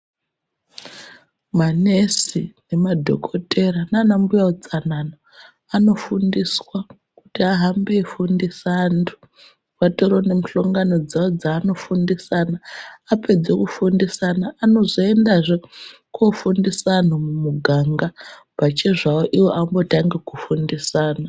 Manesi nemadhogodheya nanambuya utsanana, anodzidza kuti ahambe eifundisa antu. Atori nemihlongano dzavo dzaanofundisana, anozoendazve kofundisa antu mumuganga, pachezvao iwo ambotanga kufundisana.